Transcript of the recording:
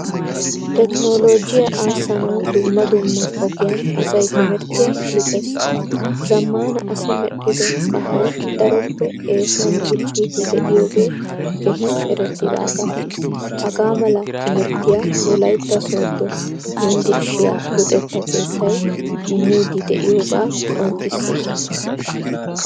Tekkinologiyaa aassanawu dumma dumma ogiyan asay timirttiyaa luxees. Zamaana asi medhdhido kahay daroppe eesuwan diccidi de'iyoge keehin erettidaga. Hagaamala timirttiya wolaytta sodo yunvurshshiyaa luxetta keettay immidi de'iyoga qonccisses.